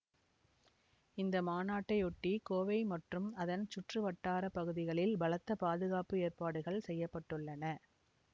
இந்த மாநாட்டையொட்டி கோவை மற்றும் அதன் சுற்று வட்டார பகுதிகளில் பலத்த பாதுகாப்பு ஏற்பாடுகள் செய்ய பட்டுள்ளன